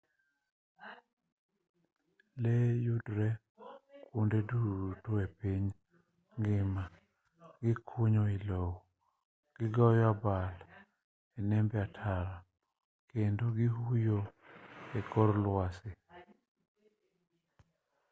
lee yudore kwonde duto e piny ngima gikunyo i lowo gigoyo abal e nembe ataro kendo gihuyo e kor lwasi